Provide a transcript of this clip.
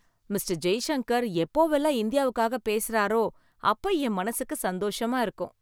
mister Jaishankar எப்போவெல்லாம் இந்தியாவுக்காக பேசறாரோ அப்ப என் மனசுக்கு சந்தோஷமா இருக்கும்